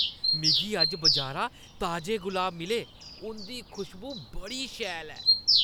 मिगी अज्ज बजारा ताजे गुलाब मिले । उंʼदी खुशबू बड़ी शैल ऐ।